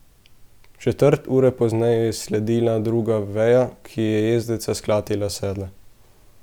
Četrt ure pozneje je sledila druga veja, ki je jezdeca sklatila s sedla.